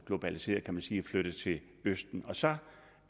globaliseret kan man sige og flyttet til østen og så